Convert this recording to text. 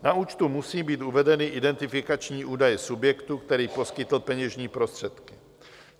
Na účtu musí být uvedeny identifikační údaje subjektu, který poskytl peněžní prostředky.